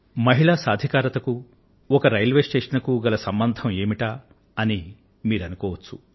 మహిళా సాధికారిత కూ ఒక ఒక రైల్వే స్టేషన్ కూ గల సంబంధం ఏమిటా అని మీరు అనుకోవచ్చు